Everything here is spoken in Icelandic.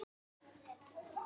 Ekki veitti nú af.